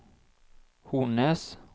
Hornnes